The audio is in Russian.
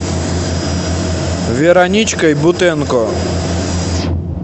вероничкой бутенко